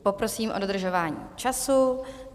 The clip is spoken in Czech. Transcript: Poprosím o dodržování času.